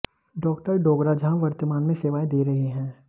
doctor Dogra जहां वर्तमान में सेवाएं दे रहे हैं